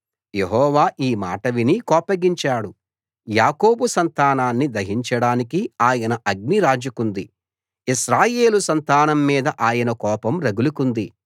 యెహోవా ఈ మాట విని కోపగించాడు యాకోబు సంతానాన్ని దహించడానికి ఆయన అగ్ని రాజుకుంది ఇశ్రాయేలు సంతానం మీద ఆయన కోపం రగులుకుంది